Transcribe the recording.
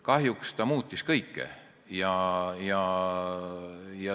Kahjuks ta muutis kõike.